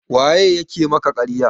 waye ya ke maka ƙarya?